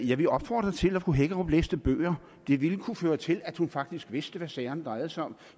jeg ville opfordre til at fru hækkerup læste bøger det ville kunne føre til at hun faktisk vidste hvad sagerne drejede sig om